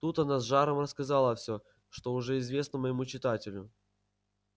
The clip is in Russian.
тут она с жаром рассказала все что уже известно моему читателю